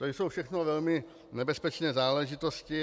To jsou všechno velmi nebezpečné záležitosti.